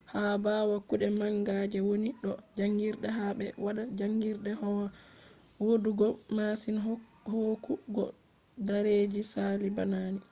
ha ɓawo kuɗe manga je woni do jaangirde hani ɓe waɗa jaangirde hoya woɗugo masin hooku go dareji sali bana ni